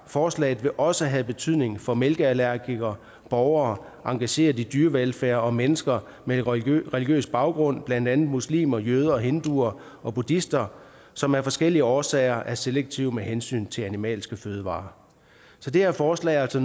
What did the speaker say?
forslaget vil også have betydning for mælkeallergikere borgere engageret i dyrevelfærd og mennesker med religiøs religiøs baggrund blandt andet muslimer jøder hinduer og buddhister som af forskellige årsager er selektive med hensyn til animalske fødevarer så det her forslag har altså